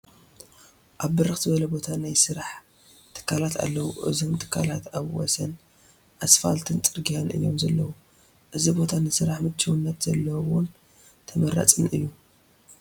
ኣብ ብርኽ ዝበለ ቦታ ናይ ስራሕ ትካላት ኣለዉ፡፡ እዞም ትካላት ኣብ ወሰን ኣስፋልት ፅርጊያ እዮም ዘለዉ፡፡ እዚ ቦታ ንስራሕ ምችውነት ዘለዎን ተመራፅን እዩ፡፡